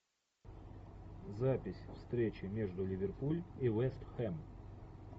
запись встречи между ливерпуль и вест хэм